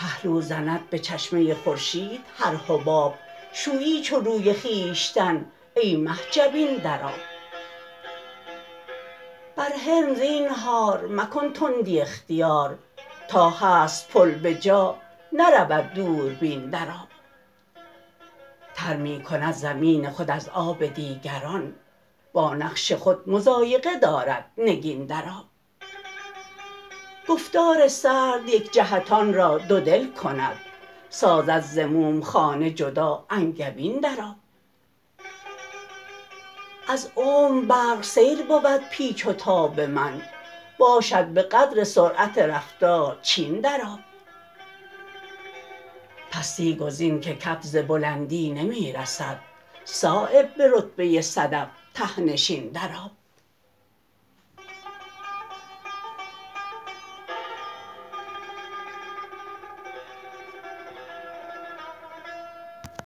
پهلو زند به چشمه خورشید هر حباب شویی چو روی خویشتن ای مه جبین در آب بر حلم زینهار مکن تندی اختیار تا هست پل به جا نرود دوربین در آب تر می کند زمین خود از آب دیگران با نقش خود مضایقه دارد نگین در آب گفتار سرد یک جهتان را دودل کند سازد ز موم خانه جدا انگبین در آب از عمر برق سیر بود پیچ و تاب من باشد به قدر سرعت رفتار چین در آب پستی گزین که کف ز بلندی نمی رسد صایب به رتبه صدف ته نشین در آب